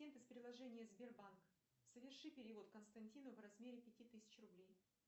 из приложения сбербанк соверши перевод константину в размере пяти тысяч рублей